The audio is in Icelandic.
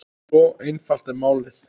Svo einfalt er málið.